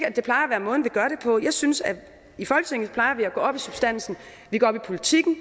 synes at vi i folketinget plejer at gå op i substansen vi går op i politikken